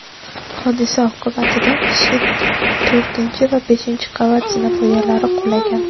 Hodisa oqibatida shift, to‘rtinchi va beshinchi qavat zinapoyalari qulagan.